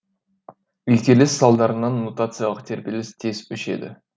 үйкеліс салдарынан нутациялық тербеліс тез өшеді